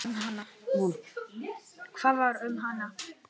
Hvað varð um hana?